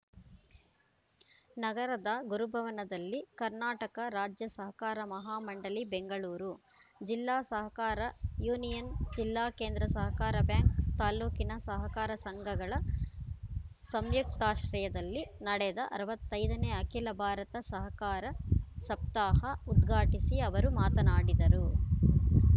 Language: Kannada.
ನಗರದ ಗುರುಭವನದಲ್ಲಿ ಕರ್ನಾಟಕ ರಾಜ್ಯಸಹಕಾರ ಮಹಾಮಂಡಳಿ ಬೆಂಗಳೂರು ಜಿಲ್ಲಾ ಸಹಕಾರ ಯೂನಿಯನ್‌ ಜಿಲ್ಲಾಕೇಂದ್ರ ಸಹಕಾರ ಬ್ಯಾಂಕ್‌ ತಾಲೂಕಿನ ಸಹಕಾರ ಸಂಘಗಳ ಸಂಯುಕ್ತಾಶ್ರಯದಲ್ಲಿ ನಡೆದ ಅರವತ್ತೈದನೇ ಅಖಿಲ ಭಾರತ ಸಹಕಾರ ಸಪ್ತಾಹ ಉದ್ಘಾಟಿಸಿ ಅವರು ಮಾತನಾಡಿದರು